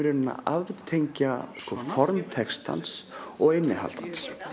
að aftengja formaður textans og innihald hans